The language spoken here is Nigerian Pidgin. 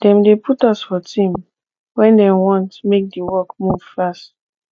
dem dey put us for team wen dem want make di work move fast